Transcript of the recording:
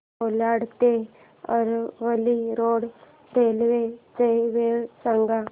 कोलाड ते Aravali road railway च्या वेळा सांग